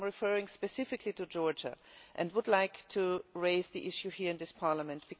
I am referring specifically to Georgia, and I would like to raise the issue here in this Parliament.